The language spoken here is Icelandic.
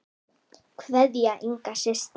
Kveðja, Inga systir.